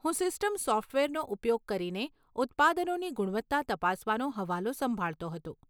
હું સિસ્ટમ સોફ્ટવેરનો ઉપયોગ કરીને ઉત્પાદનોની ગુણવત્તા તપાસવાનો હવાલો સંભાળતો હતો.